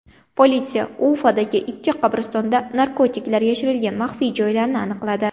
Politsiya Ufadagi ikkita qabristonda narkotiklar yashirilgan maxfiy joylarni aniqladi.